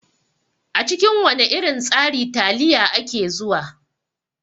A cikin wana irin tsari taliya ake zuwa.